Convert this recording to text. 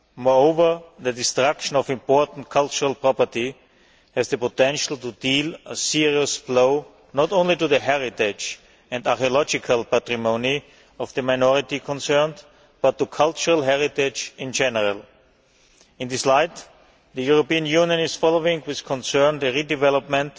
Moreover, the destruction of important cultural property has the potential to deal a serious blow, not only to the heritage and archaeological patrimony of the minority concerned, but to cultural heritage in general. In this light, the European Union is following with concern the redevelopment